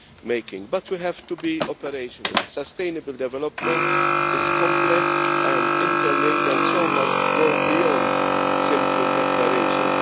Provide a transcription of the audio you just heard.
making. But we have to be operational sustainable development is complex and interlinked and so must go beyond simple declarations.